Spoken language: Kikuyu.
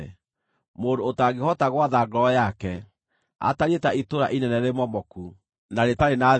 Mũndũ ũtangĩhota gwatha ngoro yake atariĩ ta itũũra inene rĩmomoku, na rĩtarĩ na thingo.